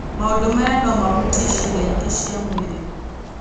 Maũndũ maya no mahutie ciĩga ingĩ cia mwĩrĩ.